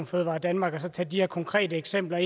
fødevaredanmark og så tage de her konkrete eksempler